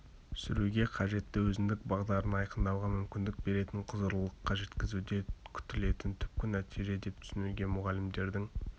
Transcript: сүруге қажетті өзіндік бағдарын айқындауға мүмкіндік беретін құзырлылыққа жеткізуде күтілетін түпкі нәтиже деп түсінуге болады мұғалімдердің